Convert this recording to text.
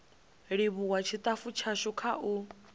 livhuwa tshitafu tshashu kha u